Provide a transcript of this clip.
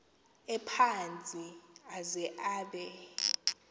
ephantsi aze abe